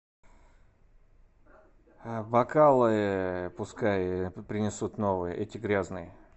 бокалы пускай принесут новые эти грязные